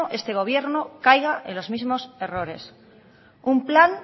este gobierno caiga en los mismos errores un plan